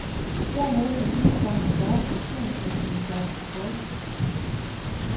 Dermed får gearstangen snarere funktion som en slags joystick. punktum